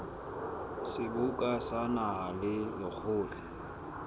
seboka sa naha le lekgotla